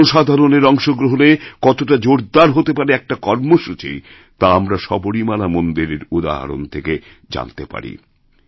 জনসাধারণের অংশগ্রহণে কতটা জোরদারহতে পারে একটা কর্মসূচি তা আমরা সবরীমালা মন্দিরের উদাহরণ থেকে জানতে পারি